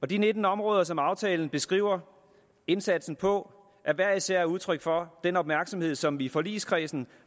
de nitten områder som aftalen beskriver indsatsen på er hver især udtryk for den opmærksomhed som vi i forligskredsen